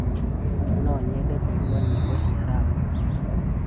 No nyende kũigua nyĩmbo cia rap.